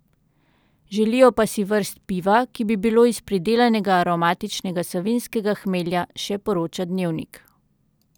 Želijo pa si vrst piva, ki bi bilo iz pridelanega aromatičnega savinjskega hmelja, še poroča Dnevnik.